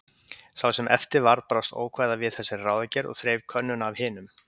Sá sem eftir varð brást ókvæða við þessari ráðagerð og þreif könnuna af hinum.